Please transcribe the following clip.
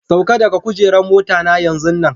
Sauka daga kujeran mota na yanzu nan!